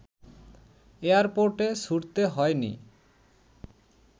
এয়ারপোর্টে ছুটতে হয় নি